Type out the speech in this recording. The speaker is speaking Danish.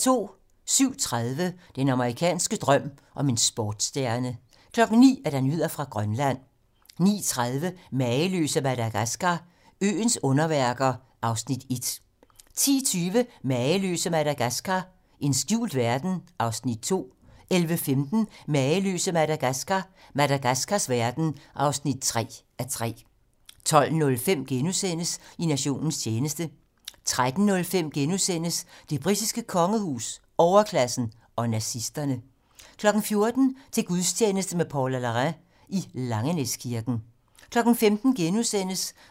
07:30: Den amerikanske drøm om en sportsstjerne 09:00: Nyheder fra Grønland 09:30: Mageløse Madagaskar – øens underværker (1:3) 10:20: Mageløse Madagaskar – en skjult verden (2:3) 11:15: Mageløse Madagaskar – Madagaskars verden (3:3) 12:05: I nationens tjeneste * 13:05: Det britiske kongehus, overklassen og nazisterne * 14:00: Til gudstjeneste med Paula Larrain i Langenæskirken 15:00: